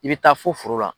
I bɛ taa fo foro la